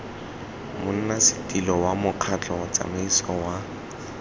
monnasetilo wa mokgatlho tsamaiso wa